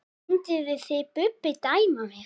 Mynduð þið Bubbi dæma mig?